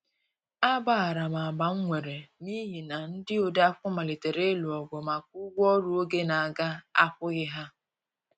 A gbaharam agbam nwere n'ihi na ndi odeakwụkwọ malitere ilụ ogụ maka ụgwọ ọrụ oge n'aga akwoghi ha.